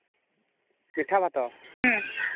ମିଠା ଭାତ